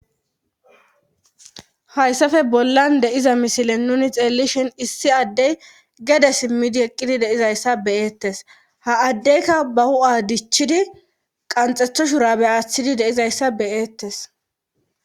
Hayssafe bollan deiza misilen nuni xeellishin issi addey gede simmidi eqqidi deizayssa beyeettes ha addeyka ba hu7a dichchidi qanxethoshura be aaththidi deizayssa beyeettes.